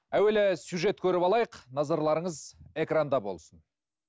әуелі сюжет көріп алайық назарларыңыз экранда болсын